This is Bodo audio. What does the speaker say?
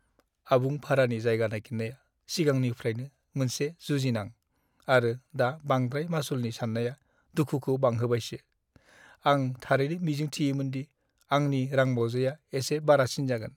आबुं भारानि जायगा नागिरनाया सिगांनिफ्रायनो मोनसे जुजिनां, आरो दा बांद्राय मासुलनि साननाया दुखुखौ बांहोबायसो। आं थारैनो मिजिं थियोमोन दि आंनि रांबावजाया एसे बारासिन जागोन।